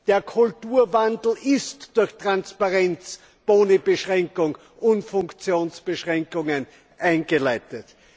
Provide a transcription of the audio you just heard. Der Kulturwandel ist durch Transparenz, Boni Beschränkung und Funktionsbeschränkungen eingeleitet.